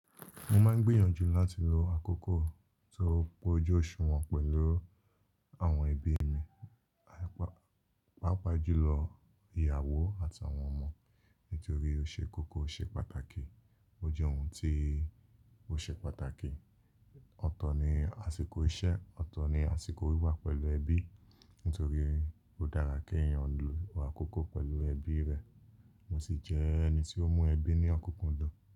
Mo máa ń gbìyànjú láti lo àkókò tó péju oṣù wọn pẹ̀lú àwọn ẹbí mi, pàápàá jùlọ ìyàwó àti àwọn ọmọ nítorí ó ṣe kókó oṣe pàtàkì. Ó jẹ́ ohun tí ó ṣe pàtàkì. Ọ̀tọ̀ ni àsìkò iṣẹ́, ọ̀tọ̀ ni àsìkò wíwà pẹ̀lú ẹbí nítorí ó dára kí èèyàn lo àkókò pẹ̀lú ẹbí rẹ̀. Mo sì jẹ́ ẹni tí ó mú ẹbí ní ọ̀kúkúndùn.